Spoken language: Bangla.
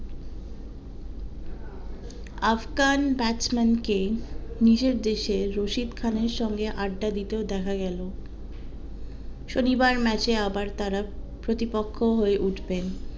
আফগান batsman কে নিজের দেশের রশিদ খানের সঙ্গে আড্ডা দিতে ও দেখা গেলো শনিবার ম্যাচে আবার তারা থুতিপক্ষ হয়ে উঠবেন